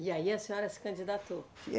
E aí a senhora se candidatou.